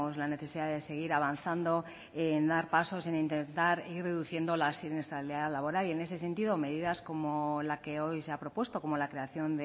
la necesidad de seguir avanzando en dar pasos en intentar ir reduciendo la siniestralidad laboral y en ese sentido medidas como la que hoy se ha propuesto como la creación